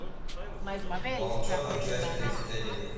волчонок часть тридцать один